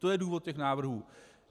To je důvod těch návrhů.